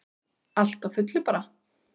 Allt á fullu bara.